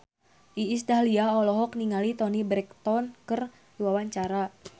Iis Dahlia olohok ningali Toni Brexton keur diwawancara